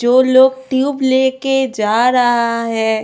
जो लोग ट्यूब लेके जा रहा है।